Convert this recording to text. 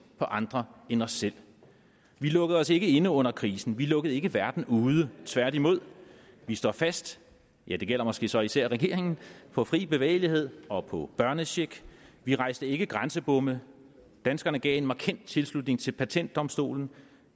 på andre end os selv vi lukkede os ikke inde under krisen vi lukkede ikke verden ude tværtimod vi står fast ja det gælder måske så især regeringen på fri bevægelighed og på børnecheck vi rejste ikke grænsebomme danskerne gav en markant tilslutning til patentdomstolen